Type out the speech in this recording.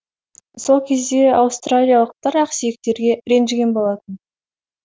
сол кезде аустралиялықтар ақсүйектерге ренжіген болатын